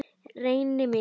Reyni mikið.